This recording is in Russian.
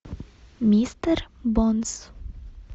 мистер бонс